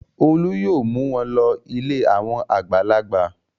Olú yóò mú wọn lọ ilé àwọn àgbàlagbà.